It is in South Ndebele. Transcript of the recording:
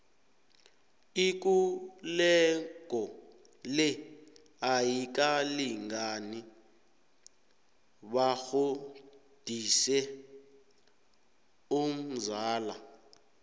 ikulego le ayikalingani batjhodise umzala